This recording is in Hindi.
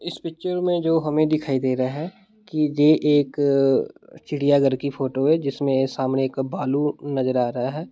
इस पिक्चर में जो हमें दिखाई दे रहा है कि जे एक चिड़ियाघर की फ़ोटो है जिसमे सामने एक भालू नज़र आ रहा है।